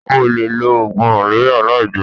O o le lo ogun maleria lai jeun.